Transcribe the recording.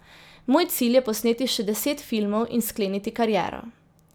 Moj cilj je posneti še deset filmov in skleniti kariero!